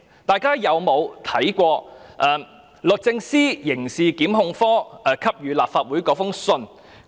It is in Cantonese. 大家曾否看過律政司刑事檢控科給予立法會的信件？